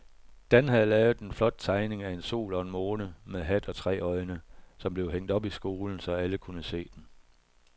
Dan havde lavet en flot tegning af en sol og en måne med hat og tre øjne, som blev hængt op i skolen, så alle kunne se den.